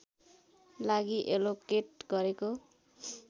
लागि एलोकेट गरेको